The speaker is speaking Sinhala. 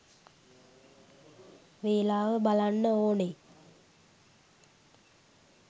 වේලාව බලන්න ඕනේ